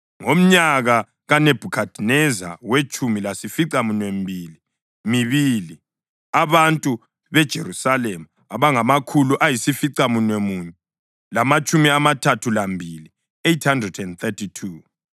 ngomnyaka kaNebhukhadineza wetshumi lasificaminwembili mibili, abantu beJerusalema abangamakhulu ayisificamunwemunye lamatshumi amathathu lambili (832);